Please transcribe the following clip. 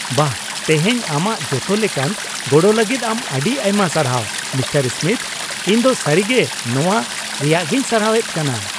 ᱵᱟᱦ, ᱛᱮᱦᱮᱧ ᱟᱢᱟᱜ ᱡᱚᱛᱚ ᱞᱮᱠᱟᱱ ᱜᱚᱲᱚ ᱞᱟᱹᱜᱤᱫ ᱟᱢ ᱟᱹᱰᱤ ᱟᱭᱢᱟ ᱥᱟᱨᱦᱟᱣ, ᱢᱤᱥᱴᱟᱨ ᱥᱢᱤᱛᱷ ᱾ ᱤᱧ ᱫᱚ ᱥᱟᱹᱨᱤᱜᱮ ᱱᱚᱣᱟ ᱨᱮᱭᱟᱜᱤᱧ ᱥᱟᱨᱦᱟᱣᱮᱫ ᱠᱟᱱᱟ !